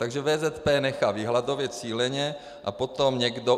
Takže VZP nechá vyhladovět cíleně a potom někdo...